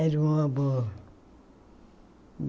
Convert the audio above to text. Era um amor.